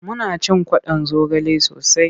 Muna cin kwaɗon zogale sosai.